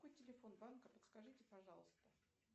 какой телефон банка подскажите пожалуйста